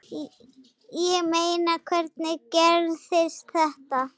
Ég meina, hvernig gerðist þetta?